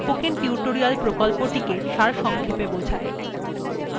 এটি spoken tutorial প্রকল্পটি সারসংক্ষেপে বোঝায়